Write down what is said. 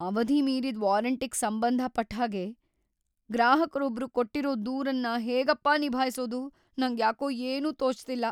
ಅವಧಿ ಮೀರಿದ್ ವಾರಂಟಿಗ್ ಸಂಬಂಧ ಪಟ್ಟ್‌ಹಾಗೆ ಗ್ರಾಹಕ್ರೊಬ್ರು ಕೊಟ್ಟಿರೋ ದೂರ್‌ನ ಹೇಗಪ್ಪಾ ನಿಭಾಯ್ಸೋದು, ನಂಗ್ಯಾಕೋ ಏನೂ ತೋಚ್ತಿಲ್ಲ.